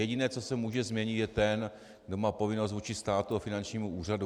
Jediné, co se může změnit, je ten, kdo má povinnost vůči státu a finančnímu úřadu.